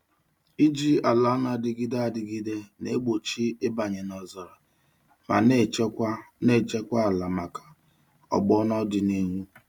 Iji ala na-adịgide adịgide na-egbochi ịbanye n'ọzara ma na-echekwa na-echekwa ala maka ọgbọ n'ọdịnihu.